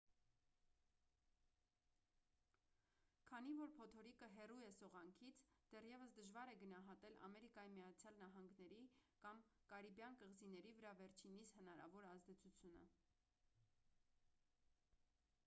քանի որ փոթորիկը հեռու է սողանքից դեռևս դժվար է գնահատել ամերիկայի միացյալ նահանգների կամ կարիբյան կղզիների վրա վերջինիս հնարավոր ազդեցությունը